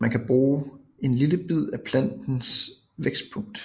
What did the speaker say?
Man kan bruge en lille bid af plantens vækstpunkt